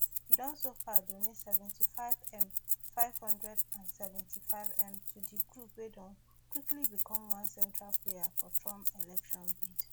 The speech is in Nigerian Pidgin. e don so far donate seventy-fivem five hundred and seventy-fivem to di group wey don quickly become one central player for trump election bid